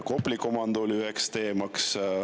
Kopli komando oli üks teema.